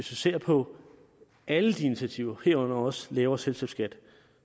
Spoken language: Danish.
ser på alle de initiativer herunder også lavere selskabsskat